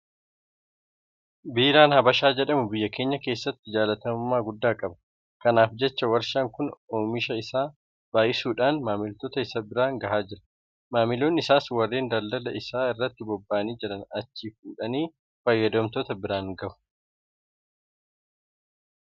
Biiraan habashaa jedhamu biyya keenya keessatti jaalatamummaa guddaa qaba. Kanaaf jecha warshaan kun oomisha isaa baay'isuudhaan maamiloota isaa biraan gahaa jira. Maamiloonni isaas warreen daldala isaa irratti bobba'anii jiran achii fuudhanii fayyadamtoota biraan gahu.